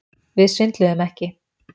Við svindluðum ekki